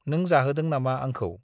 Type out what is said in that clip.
नों जाहोदों नामा आंखौ ?